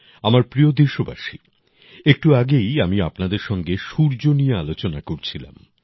আমার প্রিয় দেশবাসী একটু আগেই আমি আপনাদের সঙ্গে সূর্য নিয়ে আলোচনা করছিলাম